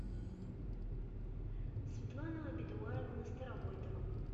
светлана бедуаевна старовойтова